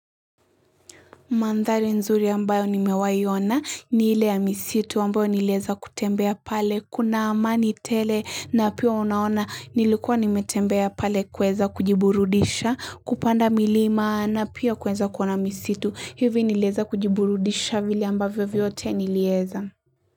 Mandhari nzuri ambayo nimewahi ona ni ile ya misitu ambayo nilieza kutembea pale kuna amani tele na pia unaona nilikuwa nimetembea pale kuweza kujiburudisha kupanda milima na pia kueza kuona misitu hivi nilieza kujiburudisha vile ambayo vyote nilieza.